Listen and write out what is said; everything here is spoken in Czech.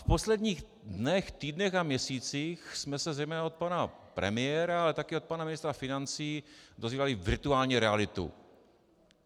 V posledních dnech, týdnech a měsících jsme se zejména od pana premiéra, ale taky od pana ministra financí dozvídali virtuální realitu.